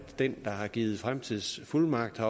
den der har givet fremtidsfuldmagten